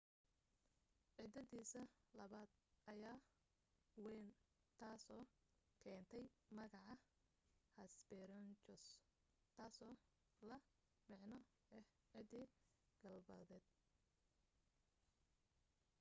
ciddidiisa labaad ayaa wayn taasoo keentay magaca hesperonychus taasoo la macno ah ciddi galbeedeed